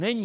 Není.